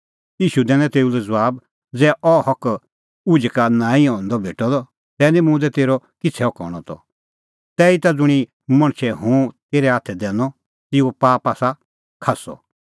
ईशू दैनअ तेऊ लै ज़बाब ज़ै अह हक उझै का नांईं भेटदअ तै निं मुंह दी तेरअ किछ़ै हक हणअ त तैहीता ज़ुंणी मणछै हुंह तेरै हाथै दैनअ तेऊओ पाप आसा खास्सअ